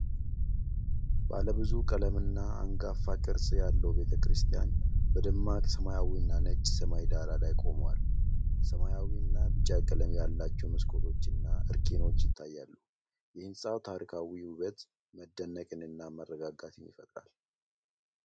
ባለብዙ ቀለም እና አንጋፋ ቅርፅ ያለው ቤተክርስቲያን በደማቅ ሰማያዊና ነጭ ሰማይ ዳራ ላይ ቆሟል። ሰማያዊና ቢጫ ቀለም ያላቸው መስኮቶችና አርከኖች ይታያሉ። የህንጻው ታሪካዊ ውበት መደነቅንና መረጋጋትን ይፈጥራል።